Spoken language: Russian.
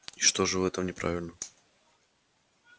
и что же в этом неправильно